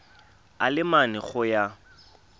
a le mane go ya